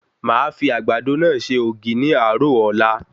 Màá fi Àgbàdo náà se ògì ní àárò Ọ̀la